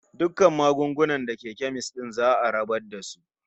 Dukkan magunguna da ke kemis din za'a rabar da su.